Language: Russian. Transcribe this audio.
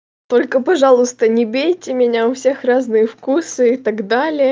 только пожалуйста не бейте меня у всех разные вкусы и так далее